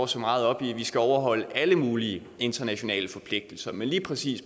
så meget op i at vi skal overholde alle mulige internationale forpligtelser men lige præcis